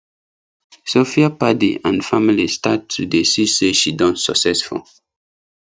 sophia padi and family start to dey see say she don successful